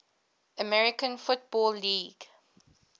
american football league